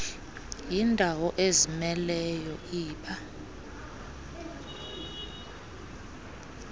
yindawo ezimeleyo iba